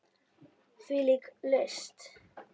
Hvílík list!